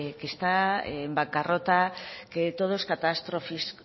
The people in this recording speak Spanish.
que está en bancarrota que todo es